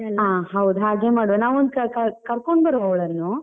ಹಾ ಹೌದು, ಹಾಗೆ ಮಾಡುವ ನಾವೊಂದು ಕ~ ಕರ್ಕೊಂಡು ಬರುವ ಅವಳನ್ನು.